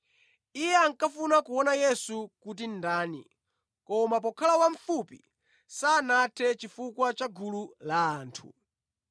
Iye ankafuna kuona Yesu kuti ndani, koma pokhala wamfupi sanathe chifukwa cha gulu la anthu.